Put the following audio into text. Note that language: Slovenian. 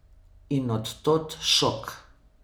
In od tod šok.